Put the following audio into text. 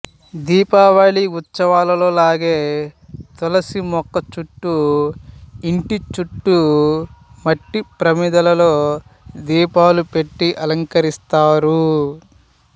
దీపావళి ఉత్సవాలలో లాగే తులసి మొక్కచుట్టూ ఇంటి చుట్టూ మట్టి ప్రమిదలో దీపాలు పెట్టి అలంకరిస్తారు